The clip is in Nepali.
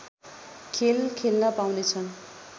खेल खेल्न पाउनेछन्